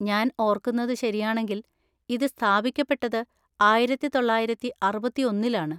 ഞാൻ ഓർക്കുന്നതു ശരിയാണെങ്കില്‍ ഇത് സ്ഥാപിക്കപ്പെട്ടത് ആയിരത്തി തൊള്ളായിരത്തി അറുപത്തിയൊന്നിലാണ്